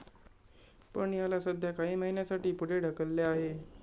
पण, याला सध्या काही महिन्यासाठी पुढे ढकलले आहे.